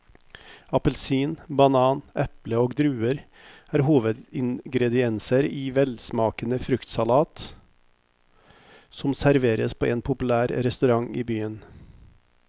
Appelsin, banan, eple og druer er hovedingredienser i en velsmakende fruktsalat som serveres på en populær restaurant i byen.